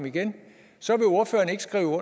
i den